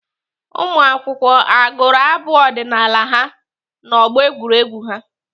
Ụmụakwụkwọ agụrụ abụ ọdịnaala ha n'ọgbọ egwuregwu ha?